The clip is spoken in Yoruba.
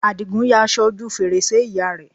Àdìgún ya aṣọ ojú fèrèsé ìyá rẹ̀